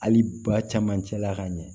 Hali ba caman cɛla ka ɲɛ